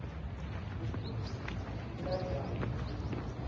nekutsi tiphilanjani